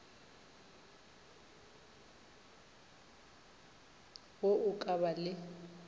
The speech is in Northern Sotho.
wo o ka ba le